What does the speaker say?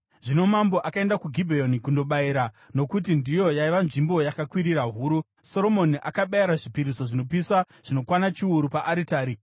Zvino mambo akaenda kuGibheoni kundobayira, nokuti ndiyo yaiva nzvimbo yakakwirira huru, Soromoni akabayira zvipiriso zvinopiswa zvinokwana chiuru paaritari.